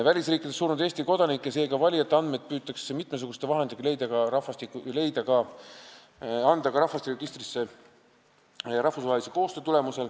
Välisriikides surnud Eesti kodanike, seega valijate andmeid püütakse mitmesuguste vahenditega rahvusvahelise koostöö tulemusel leida ja kanda ka rahvastikuregistrisse.